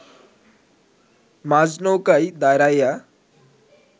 মাঝ নৌকায় দাঁড়াইয়া